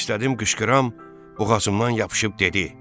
İstədim qışqıram, boğazımdan yapışıb dedi: